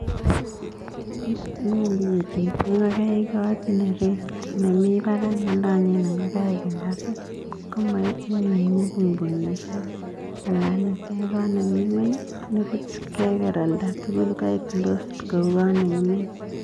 Nyalu ketekchi ngokaik kot ne raised nemi barak nelanyen ngokai ngasit komaitchin pung'pungishek anan itech kot nemi ng'weny nepuch keker olda tukul.